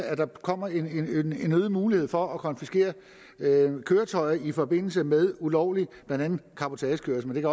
at der kommer en øget mulighed for at konfiskere køretøjer i forbindelse med ulovlig cabotagekørsel men